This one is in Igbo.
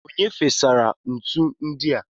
Onye fesara ntu ndi a?